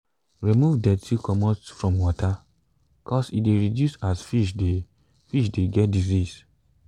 remove dirty comot from water cos e de reduce as fish de fish de get disease